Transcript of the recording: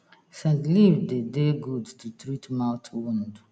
scent leaf dey dey good to treat mouth wound